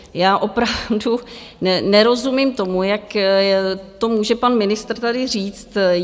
Já opravdu nerozumím tomu, jak to může pan ministr tady říct.